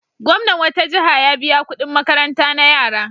Gwamnan wata jiha ya biya kuɗin makaranta na yara.